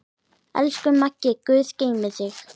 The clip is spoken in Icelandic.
Elsku Maggi, guð geymi þig.